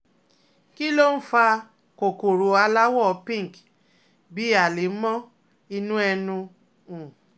Kí ló ń fa kòkòrò aláwọ̀ pink bíi àlẹ̀mọ́ inú ẹnu? um